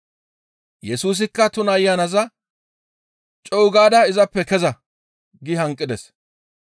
Yesuska tuna ayanaza, «Co7u gaada izappe keza!» gi hanqides.